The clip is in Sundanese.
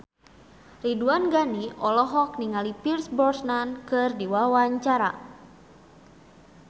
Ridwan Ghani olohok ningali Pierce Brosnan keur diwawancara